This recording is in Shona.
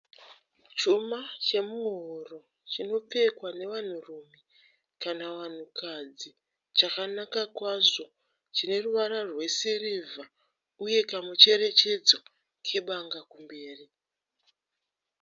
Chuma chemuhuro chinopfekwa nevanhurume kana vanhukadzi chakanaka kwazvo. Chine ruvara rwesirivha uye kamucherechedzo kebanga kumberi.